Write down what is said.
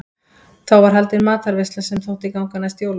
Þá var haldin matarveisla sem þótti ganga næst jólunum.